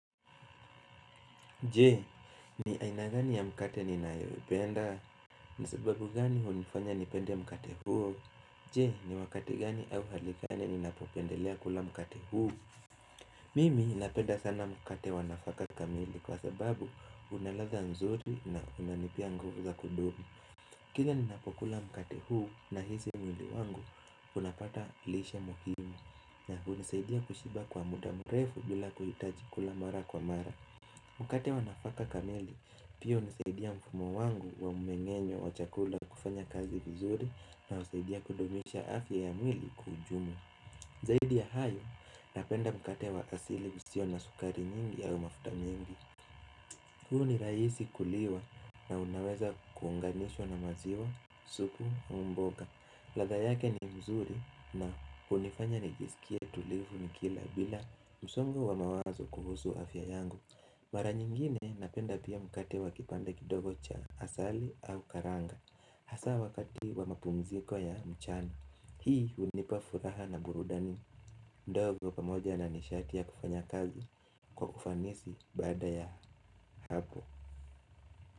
Je, ni ainagani ya mkate ni naewebenda, nisababu gani unifanya nipende mkate huo Je, ni wakati gani au halikane ni napopendelea kula mkate huu Mimi ninapenda sana mkate wanafaka kamili kwa sababu unaradha nzuri na unanipia nguva za kudumu Kile ninapokula mkate huu na hizi mwili wangu unapata lishe muhimi nia kunizaidia kushiba kwa muda murefu bila kuhitaji kula mara kwa mara Mkate wanafaka kamili, pio nizaidia mfumo wangu wa mmengenyo wa chakula kufanya kazi vizuri na uzaidia kudumisha afya ya mwili kwa ujumla. Zaidia hayo, napenda mkate wa asili usio na sukari nyingi ya mafuta mingi. Huu ni raisi kuliwa na unaweza kuunganishwa na maziwa, supu au mboga. Ladha yake ni mzuri na unifanya nijesikia tulivu ni kila bila msongo wa mawazo kuhusu afya yangu. Mara nyingine napenda pia mkati wa kipanda kidogo cha asali au karanga Hasa wakati wa mapumziko ya mchana Hii unipa furaha na burudani ndogo pamoja na nishatia kufanya kazi kwa ufanisi baada ya hapo.